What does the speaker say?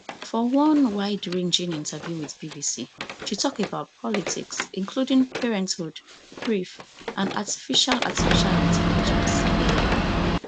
for one wideranging interview with bbc she tok about topics including parenthood grief and artificial artificial intelligence ai